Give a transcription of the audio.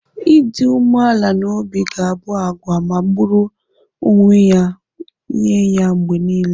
Ịdị umeala n'obi ga-abụ àgwà magburu onwe ya nye ya mgbe nile.